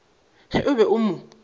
ge o be o mo